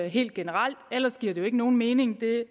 helt generelt ellers giver det jo ikke nogen mening det